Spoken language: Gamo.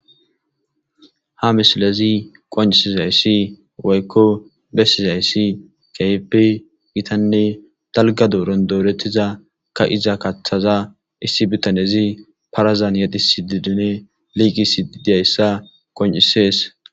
Ha misilezi qonccissida woyikko beesida izi keehippe gitanne daligga doron doretida ka'iza katata ossi bitanne parazani yexxisidinne liqqissidi beettees.